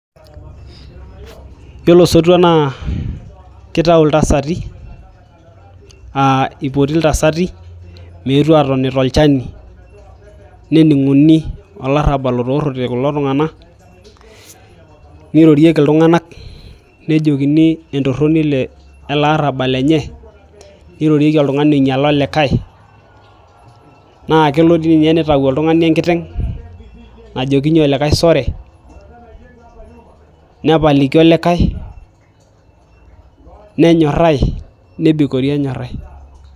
Yiolo osotua naa keitayu iltasati aa eipoti iltasati meetu aatoni tolchani nening'uni olarabal otoorote kulo tung'anak neirorieki iltung'anak nejokini entoroni eleaarabal lenye neirorieki oltung'ani oinyiala olikae naa kelo doi ninye nitayu oltung'ani enkiteng najokinyie Olikae sore nepaliki olikae nenyorai nebikori enyorai.